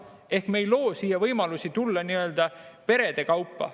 Ehk me ei loo võimalusi tulla siia perede kaupa.